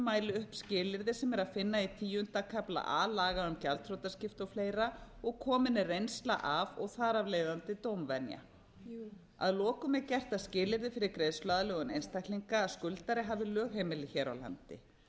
mæli upp skilyrði sem er að finna í tíunda kafla a laga um gjaldþrotaskipti og fleiri og komin er reynsla af og þar af leiðandi dómvenja að lokum er gert að skilyrði fyrir greiðsluaðlögun einstaklinga að skuldari hafi lögheimili hér á landi